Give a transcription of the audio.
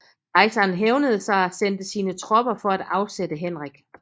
Kejseren hævnede sig og sendte sine tropper for at afsætte Henrik